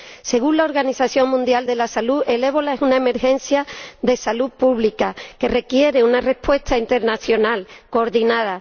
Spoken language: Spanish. Según la Organización Mundial de la Salud, el ébola es una emergencia de salud pública que requiere una respuesta internacional coordinada.